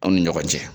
Aw ni ɲɔgɔn cɛ